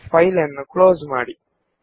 ಆ ಫೈಲನ್ನು ಕ್ಲೋಸ್ ಮಾಡಿ